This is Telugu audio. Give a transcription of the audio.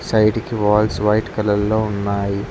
సైడ్ కి వాల్స్ వైట్ కలర్ లో ఉన్నాయి.